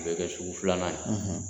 Bɛ kɛ sugu filanan ye